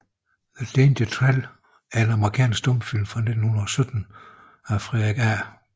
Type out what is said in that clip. The Danger Trail er en amerikansk stumfilm fra 1917 af Frederick A